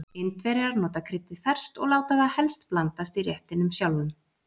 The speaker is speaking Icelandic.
Indverjar nota kryddið ferskt og láta það helst blandast í réttinum sjálfum.